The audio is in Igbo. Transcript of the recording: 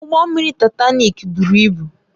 Ụgbọ mmiri Taịtanik buru ibu